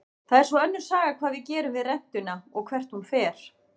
Það er svo önnur saga hvað við gerum við rentuna og hvert hún fer.